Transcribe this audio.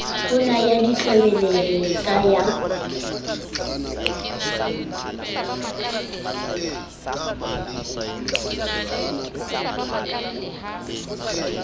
ho na ya ditlwebelele ka